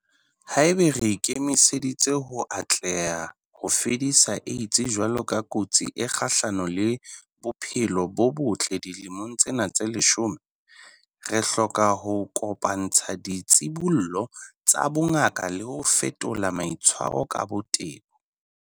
Haeba re ikemiseditse ho atleha ho fedisa AIDS jwalo ka kotsi e kgahlano le bophelo bo botle dilemong tsena tse leshome, re hloka ho kopa-ntsha ditshibollo tsa bongaka le ho fetola maitshwaro ka botebo.